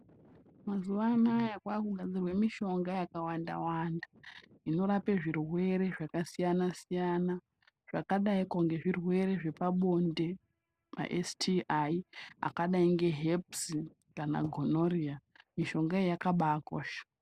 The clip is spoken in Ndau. Mazuva anawa kwakugadzirwa mishonga yakawanda wanda inorapa zvirwere zvakasiyana siyana zvakadai kunge zvirwere zvepabonde semaSTI akadai neherps kana gonorrhea mishonga iyi yakabakosha.